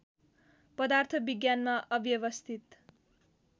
पदार्थ विज्ञानमा अव्यवस्थित